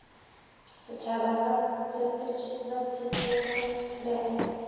setshaba ba tshepege le go